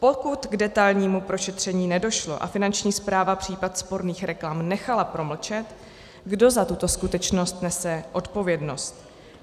Pokud k detailnímu prošetření nedošlo a Finanční správa případ sporných reklam nechala promlčet, kdo za tuto skutečnost nese odpovědnost?